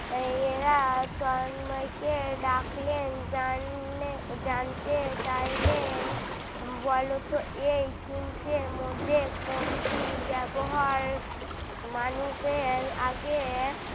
এরা তন্ময় কে ডাকলেন জাননে জানতে চাইলেন বলতো এই তিনটের মধ্যে কোনটির ব্যবহার মানুষের আগে